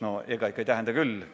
No ega ikka ei tähenda küll!